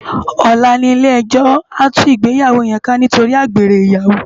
Òlá ni ilé èjò á tú igbéyáwó yèn ká nitóri ágbéré iyáwó